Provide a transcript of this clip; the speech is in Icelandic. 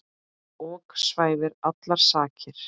ok svæfir allar sakir.